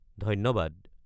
ধন্যবাদ।